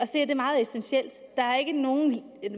se er det meget essentielt